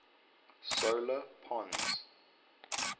solar pons